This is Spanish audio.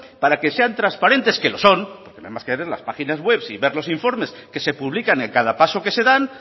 para que sean transparentes que lo son porque no hay más que ver las páginas web y ver los informes que se publican en cada paso que se da